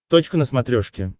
точка на смотрешке